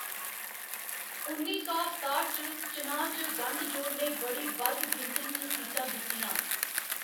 उन्नी सौ सताठ दे चनांऽ च गंढ जोड़ ने बड़ी बद्ध गिनतरी च सीटां जित्तियां।